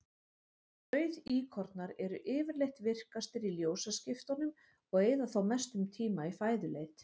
Rauðíkornar eru yfirleitt virkastir í ljósaskiptunum og eyða þá mestum tíma í fæðuleit.